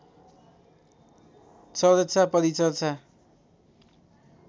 चर्चा परिचर्चा